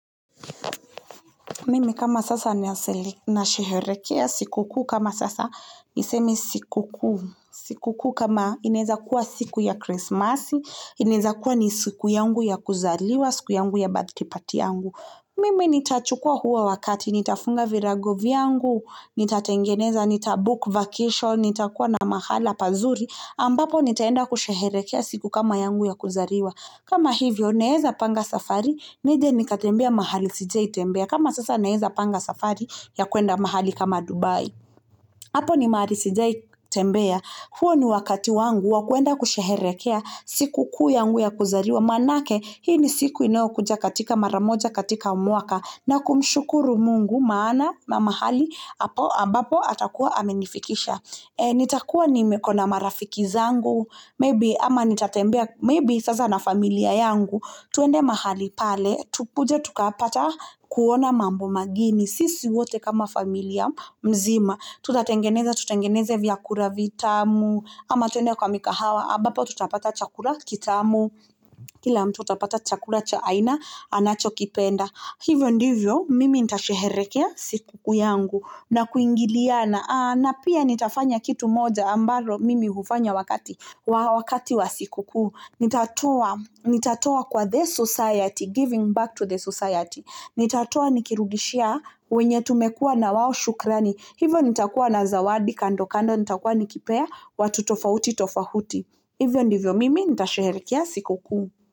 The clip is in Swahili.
Mimi kama sasa nasherehekea siku kama sasa niseme siku kama inaeza kuwa siku ya Christmas, inaweza kuwa ni siku yangu ya kuzaliwa, siku yangu ya birthday yangu. Mimi nitachukua huo wakati, nitafunga virago vyangu, nitatengeneza, nitabook vacation, nitakuwa na mahala pazuri, ambapo nitaenda kusherehekea siku kama yangu ya kuzaliwa. Kama hivyo, naeza panga safari, nije nikatembea mahali sijawahi tembea. Kama sasa naeza panga safari ya kuenda mahali kama Dubai. Hapo ni mahali sijai tembea. Huo ni wakati wangu wa kuenda kusherehekea siku kuu yangu ya kuzaliwa. Maanake, hii ni siku inayokuja katika maramoja katika mwaka na kumshukuru mungu maana mahali, hapo ambapo atakuwa amenifikisha. Nitakua niko na marafiki zangu Maybe ama nitatembea Mabe sasa na familia yangu Twende mahali pale Tukuje tukapata kuona mambo mageni Sisi wote kama familia mzima Tutatengeneza tutengeneze vyakula vitamu ama twende kwa mikahawa ambapo tutapata chakula kitamu Kila tutapata chakula cha aina Anachokipenda Hivyo ndivyo mimi nitasherehekea siku kuu yangu na kuingiliana na pia nitafanya kitu moja ambalo mimi hufanya wakati, wakati wa siku kuu. Nitatua, nitatoa kwa the society, giving back to the society. Nitatoa nikirudishia wenye tumekua na wao shukrani. Hivyo nitakua na zawadi kando kando, nitakua nikipea, watu tofauti tofauti. Hivyo ndivyo mimi, nitasherehekea siku kuu.